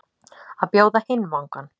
Að bjóða hinn vangann